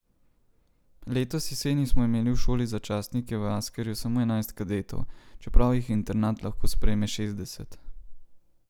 Letos jeseni smo imeli v šoli za častnike v Askerju samo enajst kadetov, čeprav jih internat lahko sprejme šestdeset.